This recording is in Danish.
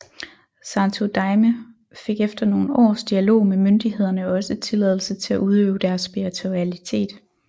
Santo Daime fik efter nogle års dialog med myndighederne også tilladelse til at udøve deres spiritualitet